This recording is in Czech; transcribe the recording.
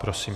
Prosím.